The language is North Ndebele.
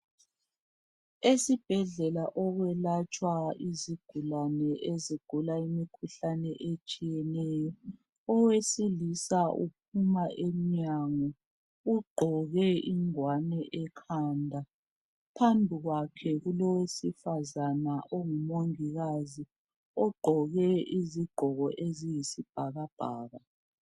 Esibhedlela okwelatshwa izigulane ezigula imkhuhlane etshiyeneyo, owesilisa uphuma emnyango ugqoke ingwane ekhanda phambi kwakhe kulo wesifazane ongumongikazi ugqoke izigqoko eziyisi bhakabhaka.